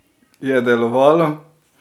Je delovalo?